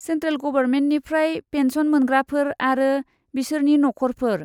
Central गभरमेन्टनिफ्राय pension मोनग्राफोर आरो बिसोरनि नखरफोर।